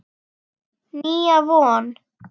Nýja von.